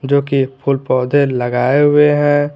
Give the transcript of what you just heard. जो कि फूल पौधे लगाए हुए हैं।